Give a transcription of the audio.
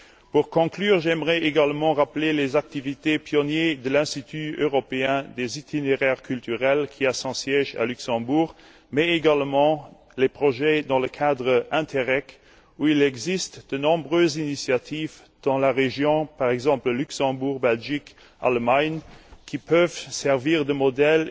Pour conclure, j'aimerais également rappeler les activités pionnières de l'Institut européen des itinéraires culturels, qui a son siège à Luxembourg, mais également les projets menés dans le cadre d'INTERREG, et notamment les nombreuses initiatives lancées dans la région, par exemple au Luxembourg, en Belgique et en Allemagne, qui peuvent servir de modèles